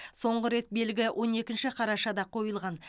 соңғы рет белгі он екінші қарашада қойылған